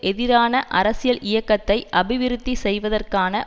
எதிரான அரசியல் இயக்கத்தை அபிவிருத்தி செய்வதற்கான